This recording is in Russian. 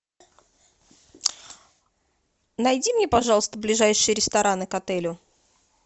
найди мне пожалуйста ближайшие рестораны к отелю